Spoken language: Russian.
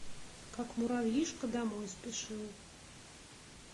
как муравьишка домой спешил